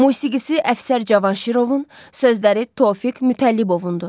Musiqisi Əfsər Cavanşirovun, sözləri Tofiq Mütəllibovundur.